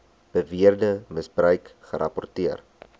beweerde misbruik gerapporteer